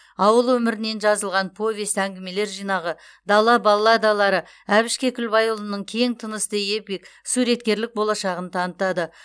ауыл өмірінен жазылған повесть әңгімелер жинағы дала балладалары әбіш кекілбайұлының кең тынысты эпик суреткерлік болашағын танытады